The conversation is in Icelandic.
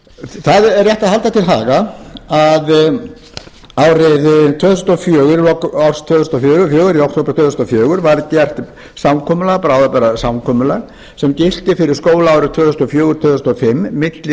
það er rétt að halda til haga að árið tvö þúsund og fjögur í október tvö þúsund og fjögur var gert samkomulag bráðabirgðasamkomulag sem gilti fyrir skólaárið tvö þúsund og fjögur til tvö þúsund og fimm milli